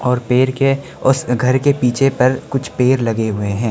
और पेड़ के उस घर के पीछे पर कुछ पेड़ लगे हुए हैं।